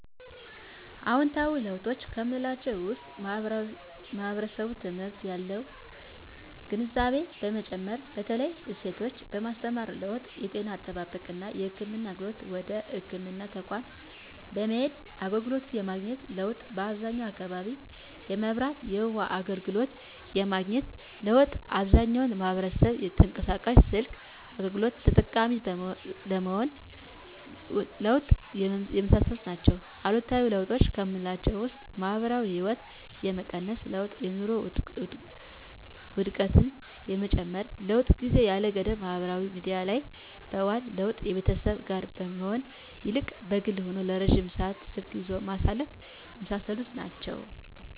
አዎንታዊ ለውጦች ከምላቸው ውስጥ ማህበረሰቡ ትምህርት ላይ ያለው ግንዛቤ መጨመር በተለይ ሴቶችን የማስተማር ለውጥ የጤና አጠባበቅና የህክምና አገልግሎትን ወደ ህክምና ተቋማት በመሄድ አገልግሎት የማግኘት ለውጥ በአብዛኛው አካባቢ የመብራትና የውሀ አገልግሎት የማግኘት ለውጥ አብዛኛው ማህበረሰብ የተንቀሳቃሽ ስልክ አገልግሎት ተጠቃሚ የመሆን ለውጥ የመሳሰሉት ናቸው። አሉታዊ ለውጦች ከምላቸው ውስጥ የማህበራዊ ህይወት የመቀነስ ለውጥ የኑሮ ውድነት የመጨመር ለውጥ ጊዜን ያለ ገደብ ማህበራዊ ሚዲያ ላይ የማዋል ለውጥ ከቤተሰብ ጋር ከመሆን ይልቅ በግል ሆኖ ረጅም ሰዓት ስልክ ይዞ ማሳለፍ የመሳሰሉት ናቸው።